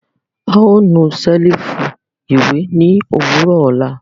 A o nu selifu iwe ni owurọ ọla.